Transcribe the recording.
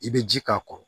I bɛ ji k'a kɔrɔ